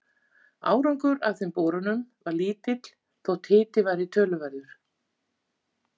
Árangur af þeim borunum varð lítill þótt hiti væri töluverður.